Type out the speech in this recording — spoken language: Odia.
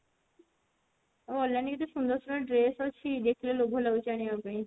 ଆଉ online ରେ କେତେ ସୁନ୍ଦର ସୁନ୍ଦର dress ଆସୁଛି ଦେଖିଲେ ଲୋଭ ଲାଗୁଛି ଆଣିବା ପାଇଁ